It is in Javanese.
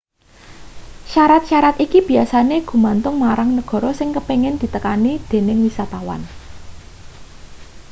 syarat-syarat iki biyasane gumantung marang negara sing kepingin ditekani dening wisatawan